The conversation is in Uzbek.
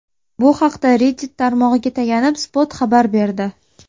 Bu haqda Reddit tarmog‘iga tayanib, Spot xabar berdi .